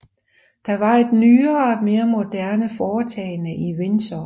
Det var et nyere og mere moderne foretagende i Windsor